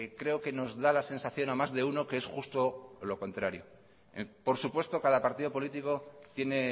creo que nos da la sensación a más de uno que es justo lo contrario por supuesto cada partido político tiene